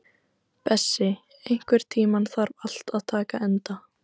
Bessi, einhvern tímann þarf allt að taka enda.